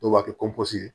Dɔw b'a kɛ ye